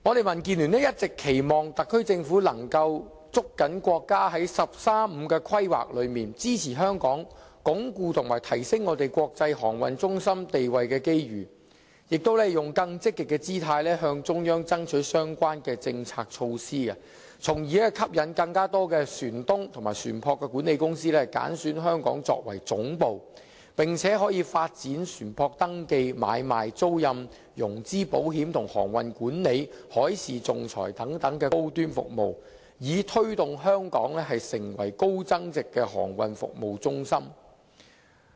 民建聯一直期望特區政府捉緊國家在"十三五"規劃中支持香港鞏固及提升香港國際航運中心地位的機遇，以及以更積極的姿態，向中央爭取相關的政策措施，從而吸引更多船東和船舶管理公司揀選香港作為總部，並且發展船舶登記買賣、租賃、融資保險及航運管理、海事仲裁等高端服務，以推動香港成為高增值的航運服務中心。